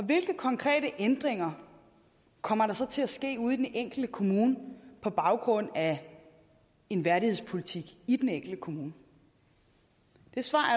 hvilke konkrete ændringer kommer der så til at ske ude i den enkelte kommune på baggrund af en værdighedspolitik i den enkelte kommune det svar